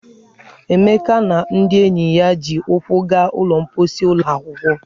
Emeka na ndị enyi ya ji ụkwụ gaa ụlọ mposi ụlọ akwụkwọ.